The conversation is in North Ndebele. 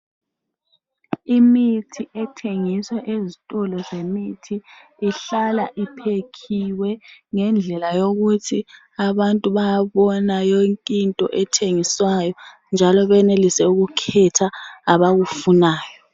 Imithi ethengiswa ezitolo zemithi ihlala iphekhiwe ngendlela yokuthi abantu bayabona okuthengiswayo njalo benelise ukukhetha abakufunayo.